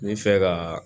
N bɛ fɛ ka